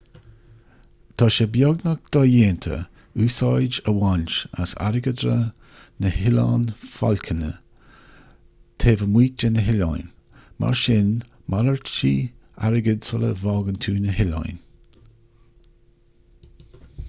tá sé beagnach dodhéanta úsáid a bhaint as airgeadra na noileán fáclainne taobh amuigh de na hoileáin mar sin malartaigh airgead sula bhfágann tú na hoileáin